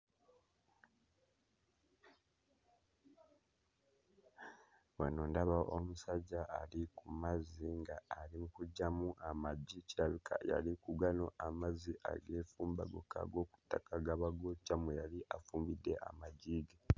Wano ndaba omusajja ali ku mazzi nga ali mu kuggyamu amagi, kirabika yali ku gano amazzi ageefumba gokka ag'oku ttaka agaba gookya mwe yali afumbidde amagi ge.